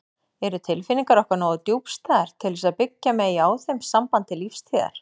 Eru tilfinningar okkar nógu djúpstæðar til þess að byggja megi á þeim samband til lífstíðar?